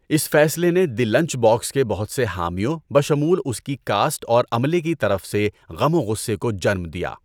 اس فیصلے نے the lunch box کے بہت سے حامیوں بشمول اس کی کاسٹ اور عملے کی طرف سے غم و غصے کو جنم دیا۔